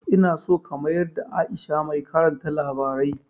Ina so ka mayada Aisha mai karanta labarai